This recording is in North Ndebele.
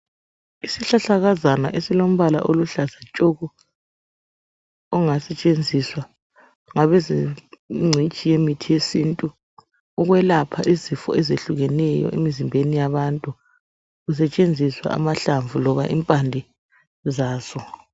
Isihlahlakazana esilombala oluhlaza tshoko. Ongasetshenziswa ngabezengcitshi yemithi yesintu ukwelapha izifo eziyehlukeneyo emzimbeni yabantu kusetshenziswa amahlamvu loba impande zazo.